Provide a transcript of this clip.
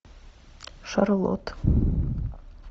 шарлот